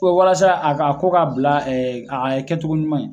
Ko walasa a ka ko ka bila ɛ a kɛcogo ɲuman ye